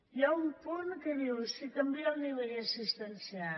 hi ha un punt que diu si canvia el nivell assistencial